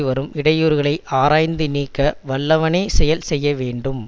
வரும் இடையூறுகளைஆராய்ந்து நீக்க வல்லவனே செயல் செய்ய வேண்டும்